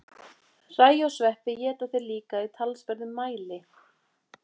Hræ og sveppi éta þeir líka í talsverðum mæli.